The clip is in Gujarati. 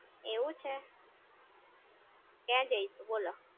એવું છે, ક્યાં જઈશું બોલો